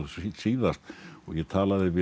síðast og ég talaði við